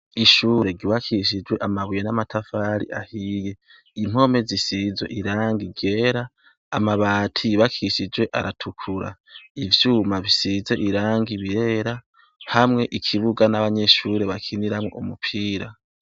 Ishure ryubakishijwe amabuye n'amatafari ahiye. Impome zisize irangi ryera, amabati yubakishijwe aratukura. Ivyuma bisize irangi birera, hamwe ikibuga n'abanyeshure bakiniramwo umupira.